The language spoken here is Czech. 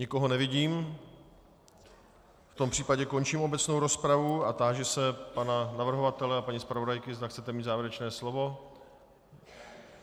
Nikoho nevidím, v tom případě končím obecnou rozpravu a táži se pana navrhovatele a paní zpravodajky, zda chcete mít závěrečné slovo.